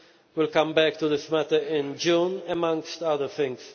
Council will come back to this matter in June, amongst other